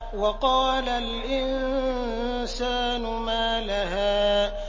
وَقَالَ الْإِنسَانُ مَا لَهَا